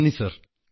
നന്ദി സർ